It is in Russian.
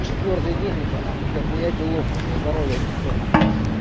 четвёртый день это нахуй дохуя делов уже здоровье не то на хуй